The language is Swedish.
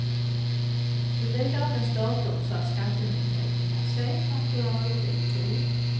Fyll i dagens datum, så att skattemyndigheten kan se att du är ute i tid.